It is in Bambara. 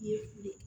Ye filɛli ye